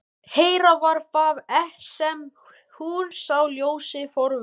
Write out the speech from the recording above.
Hér var það sem hún sá ljósið forðum.